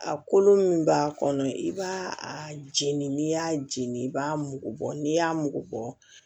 A kolo min b'a kɔnɔ i b'a a jeni n'i y'a jeni i b'a mugu bɔ n'i y'a mugu bɔ